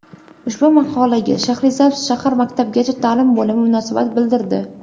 Ushbu maqolaga Shahrisabz shahar maktabgacha ta’lim bo‘limi munosabat bildirdi.